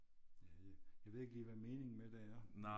Jeg ved jeg ved ikke lige hvad meningen med det er